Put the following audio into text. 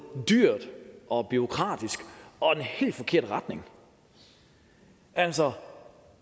dyr og bureaukratisk og den helt forkerte retning altså for